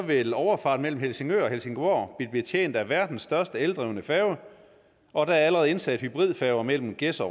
vil overfarten mellem helsingør og helsingborg blive betjent af verdens største eldrevne færge og der er allerede indsat hybridfærger mellem gedser